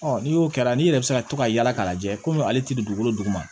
n'i y'o kɛ n'i yɛrɛ bɛ se ka to ka yaala k'a lajɛ komi ale tɛ dugukolo duguma